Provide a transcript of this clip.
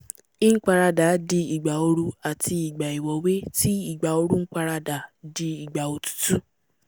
nparadà di ìgbà ooru àti ìgbà ìwọ́wé tí ìgbà ooru nparadà di ìgbà òtútù